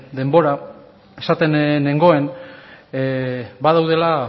denbora esaten nengoen badaudela